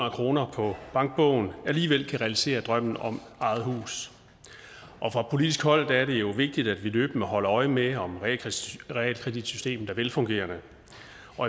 af kroner på bankbogen alligevel kan realisere drømmen om eget hus fra politisk hold er det vigtigt at vi løbende holder øje med om realkreditsystemet er velfungerende